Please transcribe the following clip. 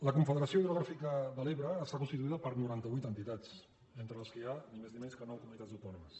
la confederació hidrogràfica de l’ebre està con stituïda per noranta vuit entitats entre les quals hi ha ni més ni menys nou comunitats autònomes